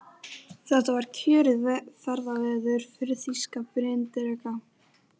Þetta var kjörið ferðaveður fyrir þýska bryndreka.